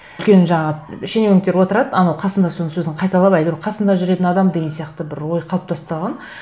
үлкен жаңағы шенеуніктер отырады анау қасында соның сөзін қайталап әйтеуір қасында жүретін адам деген сияқты бір ой қалыптасып та қалған